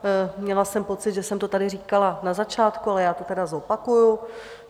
Měla jsem pocit, že jsem to tady říkala na začátku, ale já to tedy zopakuji.